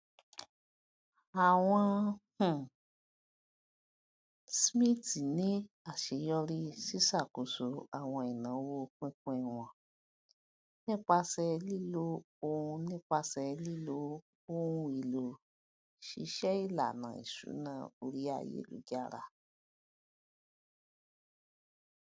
àwọn um smiths ní aṣeyọrí siṣàkóso àwọn ináwó pínpín wọn nípasẹ lílo ohun nípasẹ lílo ohun èlò ṣíṣe ìlànà ìṣúná orí ayélujára